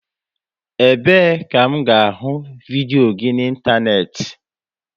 Ebe e ka m ga ahụ vidios gị na ịntanetị?